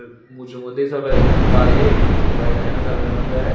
mujungendi soler ekkan bike bikano kalaran olode.